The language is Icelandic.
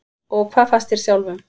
Og hvað fannst þér sjálfum?